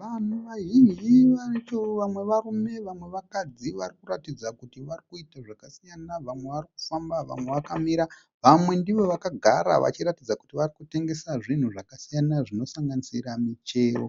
Vanhu vazhinji vacho vamwe varume vamwe vakadzi vari kuratidza kuti vari kuita zvakasiyana. Vamwe vari kufamba, vamwe vakamira vamwe ndivo vakagara vachiratidza kuti vari kutengesa zvinhu zvakasiyana zvinosanganisira michero